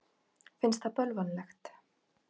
Finnst það bölvanlegt.